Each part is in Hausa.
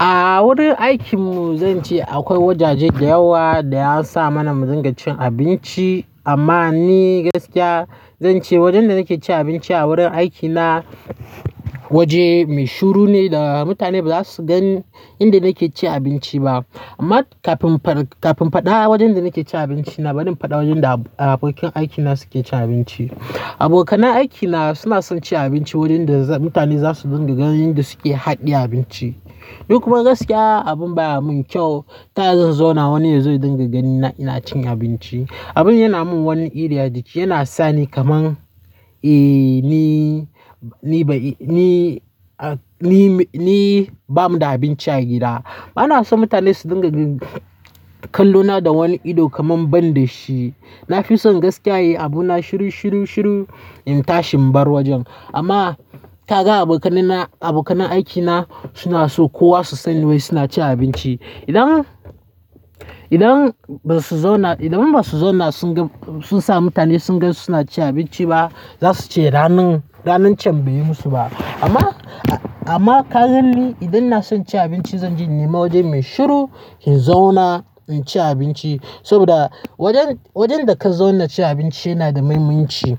A wurin aikinmu, zan ce akwai wajaje da yawa da an sa mana mu dinga cin abinci. Amma ni gaskiya zan ce wajen da nake cin abinci a wurin aikina waje mai shiru ne da mutane ba za su gan inda nake cin abinci ba. Amma kafin faɗa wajen da nake cin abinci, na bari in faɗa wajen da abokan aikina suke cin abinci. Abokanan aikina sunaso cin abinci wurin da mutane zasu dinga gani inda suke hade abinchi. Duk kuma gaskiya abin baya mun kyau. Ta ya zan zauna wani ya zo dinga ganina ina cin abinci. Abun yana man wani iri ajiki yana sani kamar eh ni ni ni nibamuda abinchi agida bana son mutane su dinga kallona da wani ido kaman ban da shi. Na fi son gaskiya in yi abuna shiru, shiru, shiru in tashi in bar wajen. Amma taga abokanina, abokan aikina suna so kowa su sani wai suna cin abinci. Idan, idan ba su zauna, idan ba su zauna sun ga, sun sa mutane sun gan su suna cin abinci ba, za su ce ranan, ranan cen bai yi musu ba. Amma, amma kagan ni idan na son cin abinci zan je nima wajen mai shiru in zauna in ci abinci. Saboda wajen, wajen da ka zauna ci abinci yana da muhimmanci.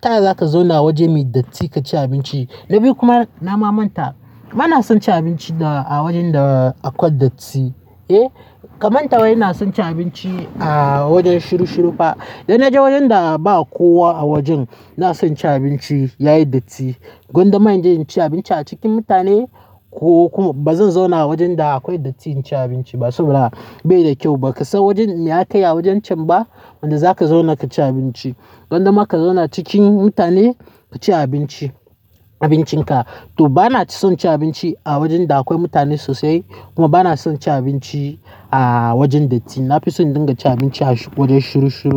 Ta ya za ka zauna wajen mai datti ka ci abinci? Domin kuma nama manta. Bana son cin abinci da a wajen da akwai datti, eh. Ka manta wai inason cin abinci a wajen shiru shiru fa idan naje wajen da ba kowa a wajen naso naci abinci yayi datti gwada ma inje inci abinci a cikin mutane ko bazan zauna a wajen da akwai datti ba in ci abinci ba saboda bai da kyau bakasan wajen me akayi a wajen cen ba da zaka zauna kaci abinci gwanda ma ka zauna a cikin mutane kaci abincin ka to ba na son cin abinci a wajen da akwai mutane sosai kuma ba na son cin abinci a wajen datti. Na fi son in dinga cin abinci a wajen shiru shiru.